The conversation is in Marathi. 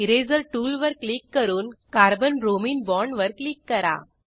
इरेजर टूलवर क्लिक करून कार्बन ब्रोमिन बाँडवर क्लिक करा